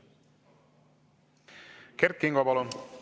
Kert Kingo, palun!